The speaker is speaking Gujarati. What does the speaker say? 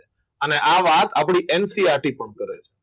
અને આ વાત આપણી NCERT કામ કરે છે